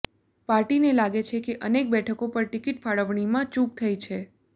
પાર્ટીને લાગે છે કે અનેક બેઠકો પર ટિકિટ ફાળવણીમાં ચૂંક થઈ છે